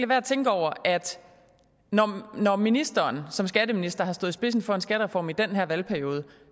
være at tænke over at da ministeren som skatteminister stod i spidsen for en skattereform i den her valgperiode